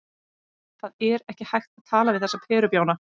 Það er ekki hægt að tala við þessa perubjána.